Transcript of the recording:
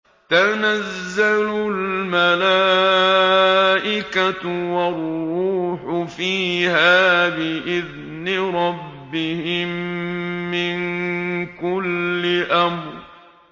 تَنَزَّلُ الْمَلَائِكَةُ وَالرُّوحُ فِيهَا بِإِذْنِ رَبِّهِم مِّن كُلِّ أَمْرٍ